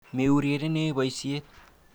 Meurerenee boisiet.